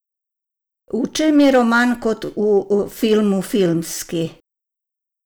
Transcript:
V čem je roman Kot v filmu filmski?